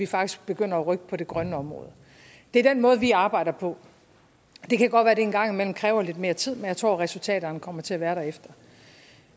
faktisk begynder at rykke på det grønne område det er den måde vi arbejder på det kan godt være at det en gang imellem kræver lidt mere tid men jeg tror at resultaterne kommer til at være derefter